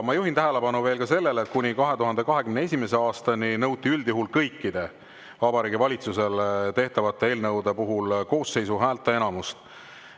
Ma juhin tähelepanu veel sellele, et kuni 2021. aastani nõuti üldjuhul kõikide Vabariigi Valitsusele tehtavat eelnõude puhul koosseisu häälteenamust.